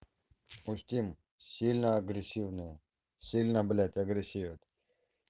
устим сильно агрессивная сильно блядь агрессив